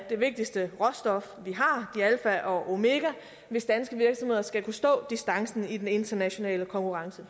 det vigtigste råstof vi har det er alfa og omega hvis danske virksomheder skal kunne stå distancen i den internationale konkurrence